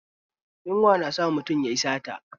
Yunwa na sa mutum yayi sata